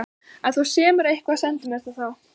Ef þú semur eitthvað, sendu mér það þá.